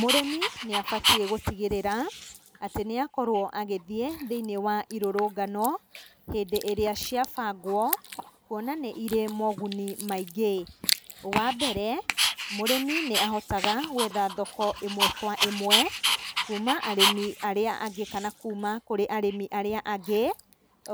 Mũrĩmi nĩ abatiĩ gũtigĩrĩra atĩ nĩ akorwo agĩthiĩ thĩiniĩ wa irũrũngano hĩndĩ ĩrĩa ciabangwo kuona nĩ irĩ moguni maingĩ. Wa mbere, mũrĩmi nĩ ahotaga gwetha thoko ĩmwe kwa ĩmwe kuma arĩmi arĩa angĩ kana kuma kũrĩ arĩmi arĩa angĩ,